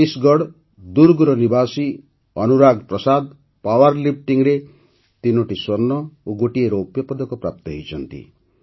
ଛତିଶଗଡ଼ ଦୁର୍ଗର ନିବାସୀ Anurag Prasad power lifting ରେ ତିନୋଟି ସ୍ୱର୍ଣ୍ଣ ଓ ଗୋଟିଏ ରୌପ୍ୟପଦକ ପ୍ରାପ୍ତ କରିଛନ୍ତି